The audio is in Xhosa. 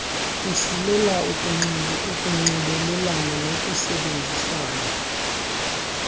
kusilela ukunxibelelana nokusebenzisana